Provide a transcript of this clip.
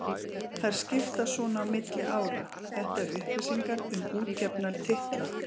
Þær skiptast svona á milli ára: Þetta eru upplýsingar um útgefna titla.